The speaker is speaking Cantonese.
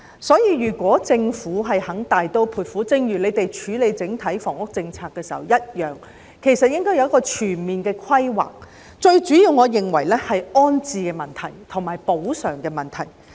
所以，希望政府肯大刀闊斧處理寮屋問題，就正如處理整體房屋政策時一樣，要有全面的規劃，而我認為最主要是安置及補償的問題。